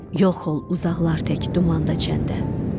Yol xol uzaqlar tək dumanda çəndə.